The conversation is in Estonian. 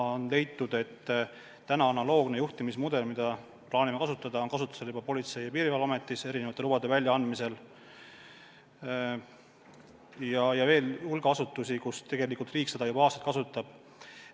On leitud, et analoogne juhtimismudel, mida me plaanime, on kasutusel juba Politsei- ja Piirivalveametis erinevate lubade väljaandmisel ja on veel hulk asutusi, kus tegelikult riik seda juba aastaid kasutab.